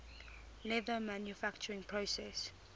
leather manufacturing process